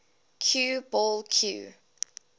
cue ball cue